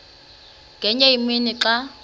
ngenye imini xa